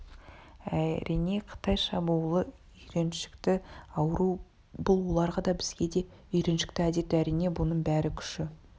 әрине қытай шабуылы үйреншікті ауру бұл оларға да бізге де үйреншікті әдет әрине бұның бәрі күші